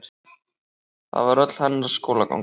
Það var öll hennar skólaganga.